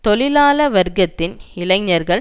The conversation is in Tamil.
தொழிலாள வர்க்கத்தின் இளைஞர்கள்